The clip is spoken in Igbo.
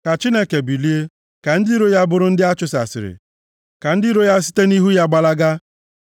Ka Chineke bilie, ka ndị iro ya bụrụ ndị a chụsasịrị; ka ndị iro ya site nʼihu ya gbalaga.